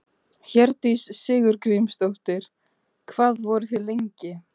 Herdís Sigurgrímsdóttir: Hvað voru þið lengi?